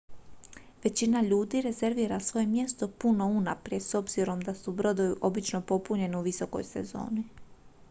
većina ljudi rezervira svoje mjesto puno unaprijed s obzirom da su brodovi obično popunjeni u visokoj sezoni